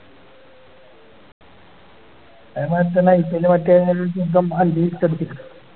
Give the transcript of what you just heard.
അതേമാതിരി തന്നെ IPL ല് മറ്റേ അഞ്ച് six അടിച്ചിക്ക്ണ്